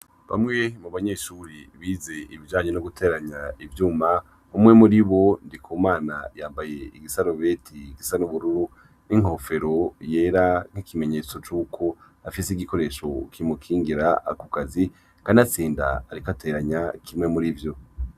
Bamwe mu banyeshuri bize ibijanye no guteranya ivyuma, umwe muri bo Ndikumana, yambaye igisarubeti gisa n'ubururu n'inkofero yera, nk'ikimenyetso c'uko afise igikoresho kimukingira ku kazi, kanatsinda ariko ateranya kimwe muri vyo.